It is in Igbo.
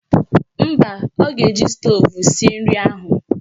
Mba, ọ ga-eji stoovu sie nri ahụ